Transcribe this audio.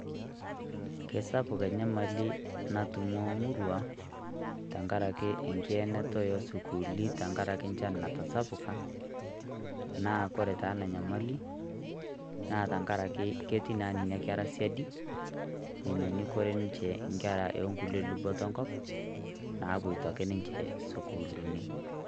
Kesapuk enyamali natum omurua, tenkaraki enkienata osukuuli tenkaraki nchan natasapuka, naa koree taa enanyamali, naa tankaraki ketii na nenakera siadi, menyonyukore nche nkera onkulie luboto enkop, napuoto ake sukuulini.